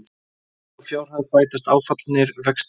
Við þá fjárhæð bætast áfallnir vextir